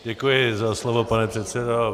Děkuji za slovo, pane předsedo.